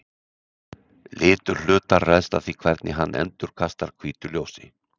Litur hlutar ræðst af því hvernig hann endurkastar hvítu ljósi.